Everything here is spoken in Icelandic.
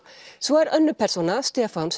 svo er önnur persóna Stefán